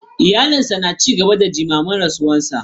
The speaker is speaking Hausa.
Iyalinsa na ci gaba da jimamin rasuwarsa.